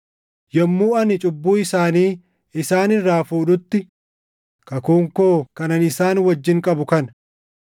Yommuu ani cubbuu isaanii isaan irraa fuudhutti, kakuun koo kan ani isaan wajjin qabu kana.” + 11:27 \+xt Isa 27:9; 59:20,21; Erm 31:33,34\+xt*